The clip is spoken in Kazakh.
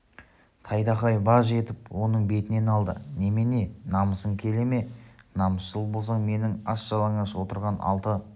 тайтақай баж етіп оның бетінен алды немене намысың келе ме намысшыл болсаң менің аш-жалаңаш отырған алты